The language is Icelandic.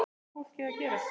Hvað á fólkið að gera?